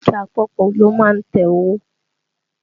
Bánkì àpapọ̀ ló má ń tẹ owó